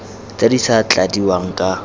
tse di sa tladiwang ka